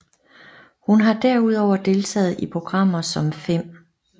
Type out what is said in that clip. Hun har derudover deltaget i programmer som 5